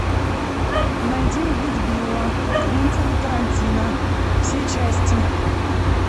найди убить билла квентина тарантино все части